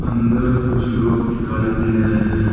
अंदर कुछ लोग दिखाई दे रहे हैं।